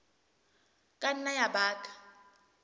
ka nna ya ba ka